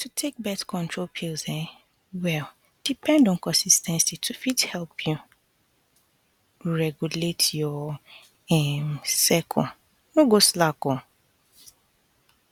to take birth control pills um well depend on consis ten cy to fit help you regulate your um cycle no go slack o